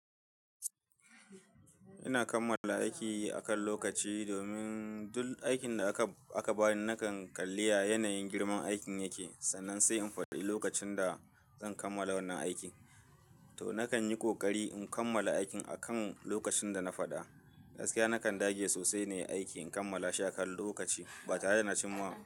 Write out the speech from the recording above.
Ina kammala aiki akan lokaci domin duk aikin da aka bani nakan kalla yanayin girman aikin yake. Sannan sai in faɗi lokacin da zan kammala wannan aiki, to nakan yi ƙoƙari in kammala aikin akan lokacin da na faɗa. Gaskiya nakan dage sosai ne aiki in kammala shi akan lokaci ba tare da na cimawa.